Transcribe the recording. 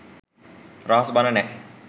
රහස් බණ නෑ.